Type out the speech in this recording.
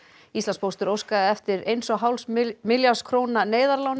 Íslandspóstur óskaði eftir eins og hálfs milljarðs króna